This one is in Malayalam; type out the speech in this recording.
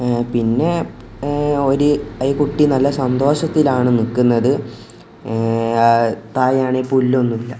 ഏഹ് പിന്നെ ഏഹ് ഒരു ഈ കുട്ടി നല്ല സന്തോഷത്തിലാണെന്ന് നിൽക്കുന്നത് ങ് താഴെയാണെങ്കിൽ പുല്ലൊന്നുമില്ല.